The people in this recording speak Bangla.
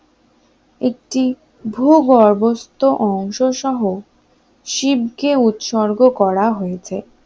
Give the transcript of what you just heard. একটি ভূগর্ভস্থ অংশসহ শিবকে উৎসর্গ করা হয়েছে